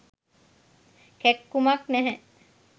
කැක්කුමක් නැහැ.